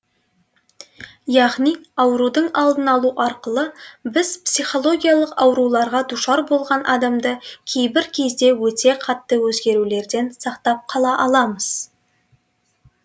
яғни аурудың алдын алу арқылы біз психологиялық ауруларға душар болған адамды кейбір кезде өте қатты өзгерулерден сақтап қала аламыз